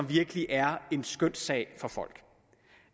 virkelig er en skønssag for folk